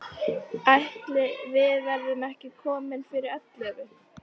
Ætli við verðum ekki komin fyrir ellefu.